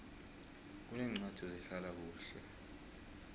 kuneencwadi zehlala kuhle